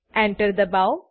Enter દબાઓ